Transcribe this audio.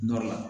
Nɔrɔ la